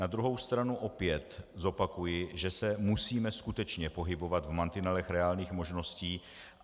Na druhou stranu opět zopakuji, že se musíme skutečně pohybovat v mantinelech reálných možností.